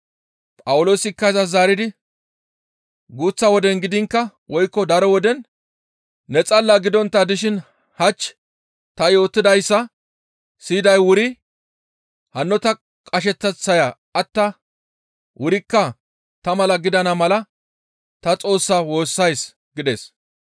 Phawuloosikka izas zaaridi, «Guuththa woden gidiinkka woykko daro woden ne xalla gidontta dishin hach ta yootidayssa siyiday wuri hanno ta qasheteththaya attaa wurikka ta mala gidana mala tani Xoossaa woossays» gides.